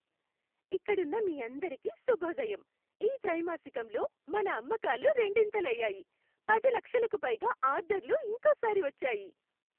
ఇక్కడున్నమీ అందరికీ శుభోదయం. ఈ త్రైమాసికంలో మన అమ్మకాలు రెండింతలు అయ్యాయి, పది లక్షలకు పైగా ఆర్డర్లు ఇంకోసారి వచ్చాయి.